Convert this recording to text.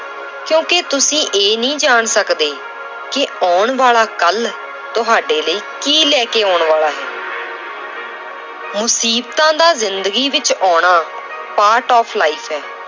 ਕਿਉਂਕਿ ਤੁਸੀਂ ਇਹ ਨੀ ਜਾਣ ਸਕਦੇ ਕਿ ਆਉਣ ਵਾਲਾ ਕੱਲ੍ਹ ਤੁਹਾਡੇ ਲਈ ਕੀ ਲੈ ਕੇ ਆਉਣ ਵਾਲਾ ਹੈ ਮੁਸੀਬਤਾਂ ਦਾ ਜ਼ਿੰਦਗੀ ਵਿੱਚ ਆਉਣਾ part of life ਹੈ